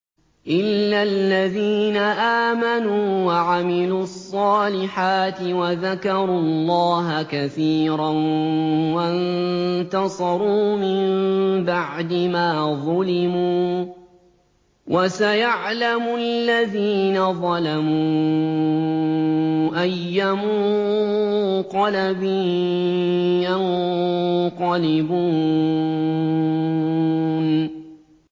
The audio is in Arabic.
إِلَّا الَّذِينَ آمَنُوا وَعَمِلُوا الصَّالِحَاتِ وَذَكَرُوا اللَّهَ كَثِيرًا وَانتَصَرُوا مِن بَعْدِ مَا ظُلِمُوا ۗ وَسَيَعْلَمُ الَّذِينَ ظَلَمُوا أَيَّ مُنقَلَبٍ يَنقَلِبُونَ